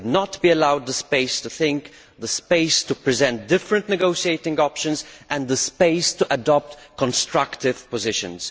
They would not be allowed the space to think, the space to present different negotiating options and the space to adopt constructive positions.